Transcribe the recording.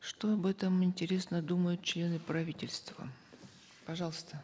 что об этом интересно думают члена правительства пожалуйста